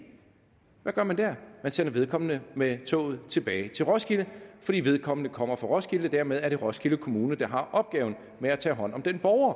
hvad gør man der man sender vedkommende med toget tilbage til roskilde fordi vedkommende kommer fra roskilde og dermed er det roskilde kommune der har opgaven med at tage hånd om den borger